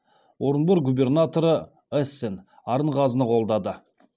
орынбор губернаторы эссен арынғазыны қолдады